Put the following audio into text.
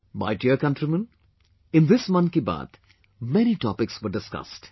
My dear countrymen, in this ' Mann Ki Baat', many topics were discussed